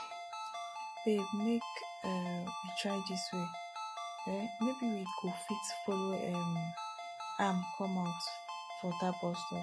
babe make um we try dis way um maybe we go fit follow um am come out fir dat bus stop